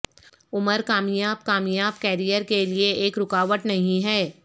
عمر کامیاب کامیاب کیریئر کے لئے ایک رکاوٹ نہیں ہے